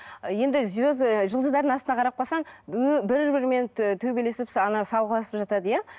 енді і жұлдыздардың астына қарап қалсаң бір бірімен ы төбелесіп салғыласып жатады иә